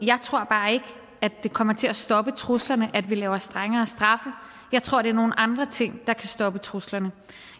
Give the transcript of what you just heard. jeg tror bare ikke at det kommer til at stoppe truslerne at vi laver strengere straffe jeg tror det er nogle andre ting der kan stoppe truslerne